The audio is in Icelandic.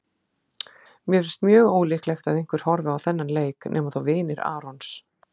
Mér finnst mjög ólíklegt að einhver horfi á þennan leik nema þá vinir Arons.